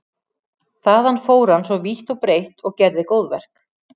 Þaðan fór hann svo vítt og breitt og gerði góðverk.